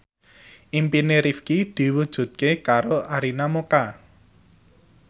impine Rifqi diwujudke karo Arina Mocca